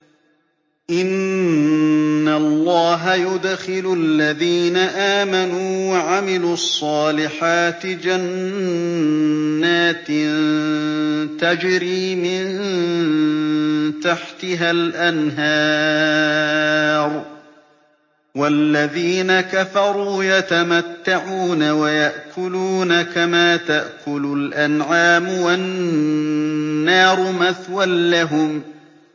إِنَّ اللَّهَ يُدْخِلُ الَّذِينَ آمَنُوا وَعَمِلُوا الصَّالِحَاتِ جَنَّاتٍ تَجْرِي مِن تَحْتِهَا الْأَنْهَارُ ۖ وَالَّذِينَ كَفَرُوا يَتَمَتَّعُونَ وَيَأْكُلُونَ كَمَا تَأْكُلُ الْأَنْعَامُ وَالنَّارُ مَثْوًى لَّهُمْ